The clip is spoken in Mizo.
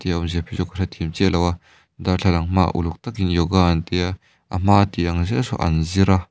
enge awmzia keichu ka hrethiam chiam lo a darthlalang hma ah uluk takin yoga an tia a hma an ti ah zel saw an zira.